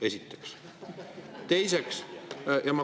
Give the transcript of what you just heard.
Seda esiteks.